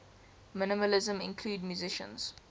minimalism include musicians